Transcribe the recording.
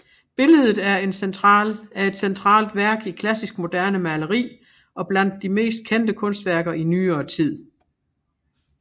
Billedet er et centralt værk i klassisk moderne maleri og blandt de mest kendte kunstværker i nyere tid